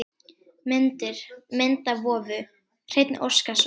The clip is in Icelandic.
Myndir: Mynd af vofu: Hreinn Óskarsson.